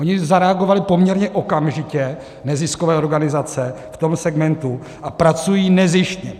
Ony zareagovaly poměrně okamžitě, neziskové organizace v tom segmentu, a pracují nezištně.